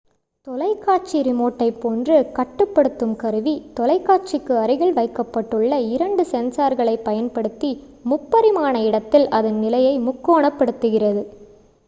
தொலைக்காட்சி ரிமோட்டைப்போன்று கட்டுப்படுத்தும் கருவி தொலைக்காட்சிக்கு அருகில் வைக்கப்பட்டுள்ள இரண்டு சென்சார்களைப் பயன்படுத்தி முப்பரிமாண இடத்தில் அதன் நிலையை முக்கோணப்படுத்துகிறது